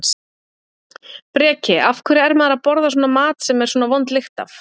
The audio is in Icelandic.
Breki: Af hverju er maður að borða svona mat sem er svona vond lykt af?